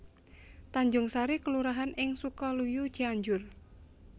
Tanjungsari kelurahan ing Sukaluyu Cianjur